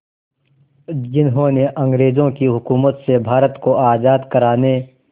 जिन्होंने अंग्रेज़ों की हुकूमत से भारत को आज़ाद कराने